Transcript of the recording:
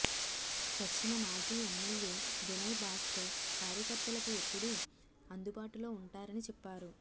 పశ్చిమ మాజీ ఎమ్మెల్యే వినయ్ భాస్కర్ కార్యకర్తలకు ఎప్పుడూ అందుబాటులో ఉంటారని చెప్పారు